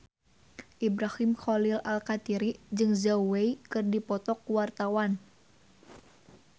Ibrahim Khalil Alkatiri jeung Zhao Wei keur dipoto ku wartawan